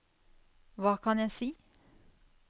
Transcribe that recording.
hva kan jeg si